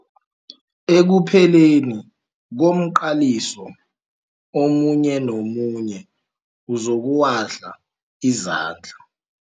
Ekupheleni komqaliso omunye nomunye uzokuwahla izandla.